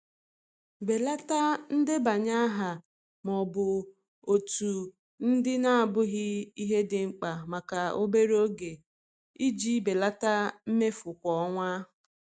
Belata ndebanye aha ma ọ bụ òtù ndị na-abụghị ihe dị mkpa maka obere oge iji belata mmefu kwa ọnwa.